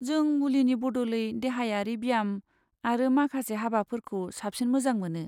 जों मुलिनि बदलै देहायारि ब्याम आरो माखासे हाबाफोरखौ साबसिन मोजां मोनो।